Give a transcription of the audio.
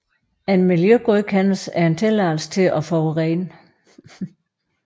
En miljøgodkendelse er en tilladelse til at forurene